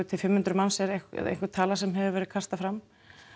til fimm hundruð manns er einhver tala sem hefur verið kastað fram